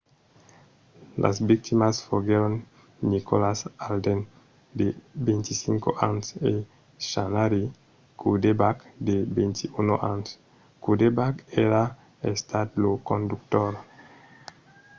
las victimas foguèron nicholas alden de 25 ans e zachary cuddeback de 21 ans. cuddeback èra estat lo conductor